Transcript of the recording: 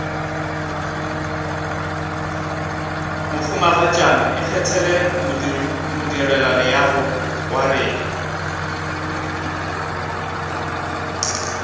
mohumagatšana ikgethele modirelaleago wa rena